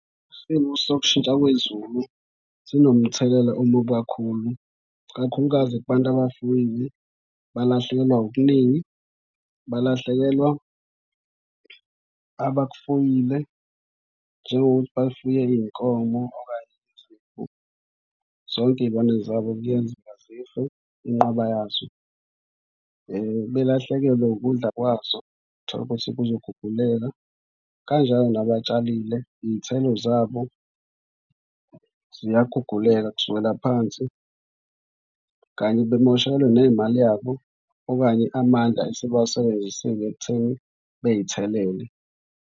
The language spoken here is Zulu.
Isimo sokushintsha kwezulu sinomthelela omubi kakhulu. Ikakhulukazi kubantu abafuyile, balahlekelwa okuningi, balahlekelwa abakufuyile njengokuthi bafuye iy'nkomo okanye zonke iy'lwane zabo kuyenzeka zife inqwaba yazo. Belahlekelwe ukudla kwazo tholukuthi kuzoguguleka. Kanjalo nabatshalile iy'thelo zabo ziyaguguleka kusukela phansi kanye bemoshekelwe nay'mali yabo okanye amandla esebawasebenzisile ekutheni beyithelele.